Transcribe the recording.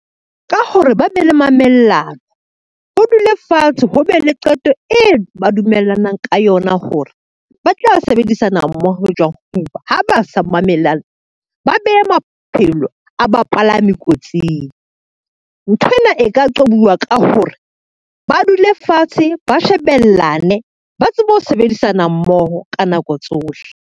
Ka hore ba be le mamellano, ho dulwe fatshe ho be le qeto e ba dumellanang ka yona hore, ba tla sebedisana mmoho jwang, ha ba sa mamellana ba beha maphelo a bapalami kotsing. Nthwena e ka qobuwa ka hore ba dule fatshe, ba shebellane, ba tsebe ho sebedisana mmoho ka nako tsohle.